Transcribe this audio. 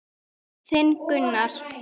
Þinn, Gunnar.